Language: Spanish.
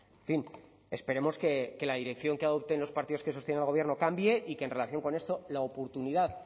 en fin esperemos que la dirección que adopten los partidos que sostienen al gobierno cambie y que en relación con esto la oportunidad